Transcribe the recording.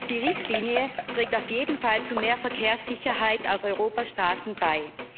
Die Richtlinie trägt auf jeden Fall zu mehr Verkehrssicherheit auf Europas Straßen bei.